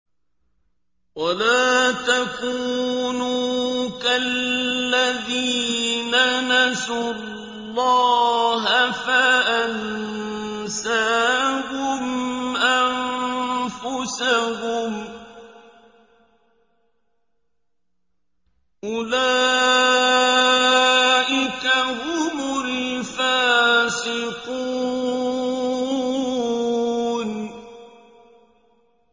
وَلَا تَكُونُوا كَالَّذِينَ نَسُوا اللَّهَ فَأَنسَاهُمْ أَنفُسَهُمْ ۚ أُولَٰئِكَ هُمُ الْفَاسِقُونَ